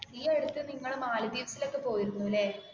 ഈ അടുത്തു നിങ്ങൾ മാലി ദ്വീപ്സിൽ ഒക്കേ പോയിരുന്നു അല്ലേ? അല്ല അല്ല